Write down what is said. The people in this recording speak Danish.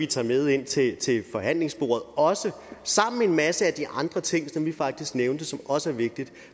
tager med ind til til forhandlingsbordet sammen med en masse af de andre ting som vi faktisk har nævnt som også er vigtige